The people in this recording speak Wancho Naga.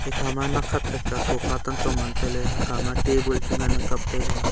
ikha ma nak khat khat ke sofa hekha table chu ngan kapley.